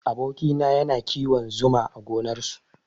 Aboki na yana kiwon zuma a gonar su